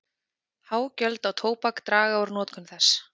Há gjöld á tóbak draga úr notkun þess.